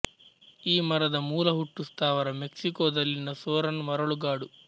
ಈ ಮರದ ಮೂಲಹುಟ್ಟು ಸ್ಥಾವರ ಮೆಕ್ಸಿಕೊದಲ್ಲಿನ ಸೊರನ್ ಮರಳು ಗಾಡು